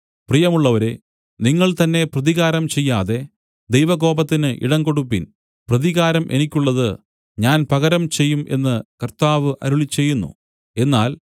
പ്രിയമുള്ളവരേ നിങ്ങൾ തന്നേ പ്രതികാരം ചെയ്യാതെ ദൈവകോപത്തിന് ഇടംകൊടുപ്പിൻ പ്രതികാരം എനിക്കുള്ളത് ഞാൻ പകരം ചെയ്യും എന്നു കർത്താവ് അരുളിച്ചെയ്യുന്നു എന്നാൽ